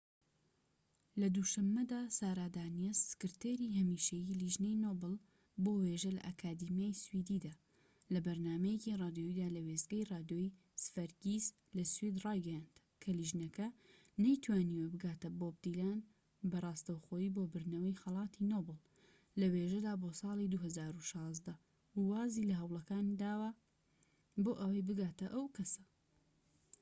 لە دوو شەمەدا سارا دانیەس، سکرتێری هەمیشەیی لیژنەی نۆبڵ بۆ وێژە لە ئەکادیمیای سویدیدا، لە بەرنامەیەکی رادیۆییدا لە وێستگەی رادیۆی سڤەرگیس لە سوید رایگەیاند کە لیژنەکە نەیتوانیوە بگاتە بۆب دیلان بە راستەوخۆیی بۆ بردنەوەی خەلاتی نۆبڵ لە وێژەدا بۆ سالی ٢٠١٦، و وازی لە هەوڵەکان داوە بۆ ئەوەی بگاتە ئەو کەسە